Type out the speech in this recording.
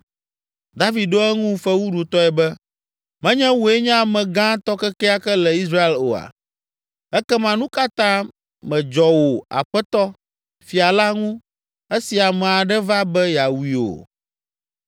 David ɖo eŋu fewuɖutɔe be, “Menye wòe nye ame gãtɔ kekeake le Israel oa? Ekema nu ka ta mèdzɔ wò aƒetɔ, fia la, ŋu esi ame aɖe va be yeawui o?